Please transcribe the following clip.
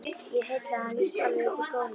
Ég heillaði hann víst alveg upp úr skónum!